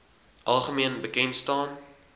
algemeen bekend staan